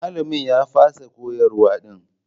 Malamin ya fasa koyarwa din.